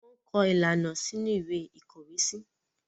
wón kọ ilana sínú Ìwé ìkọ̀wésí